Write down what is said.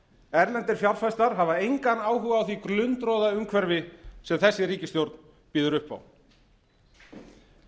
erlendir fjárfestar hafa engan áhuga á því glundroðaumhverfi sem þessi ríkisstjórn býður upp á